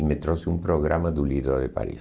E me trouxe um programa do Líder de Paris.